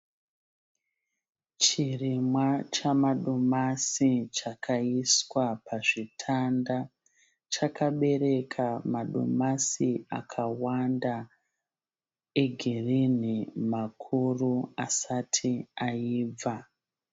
Chirimwa chamadomasi chakaiswa pazvitanda. Chakabereka madomasi akawanda egirinhi makuru asati aibva.